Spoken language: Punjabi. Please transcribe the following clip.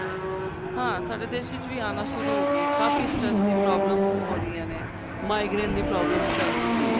ਹਾਂ ਸਾਡੇ ਦੇਸ਼ ਵਿੱਚ ਵੀ ਆਣਾ ਸ਼ੁਰੂ ਹੋ ਗਈ ਏ ਕਾਫੀ stress ਦੀ problem ਹੋ ਰਈਆਂ ਨੇ migraine ਦੀ problems ਚੱਲ ਰਹੀਆਂ ਨੇ